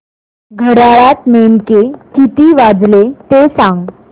घड्याळात नेमके किती वाजले ते सांग